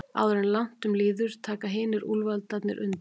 Áður en langt um líður taka hinir úlfarnir undir.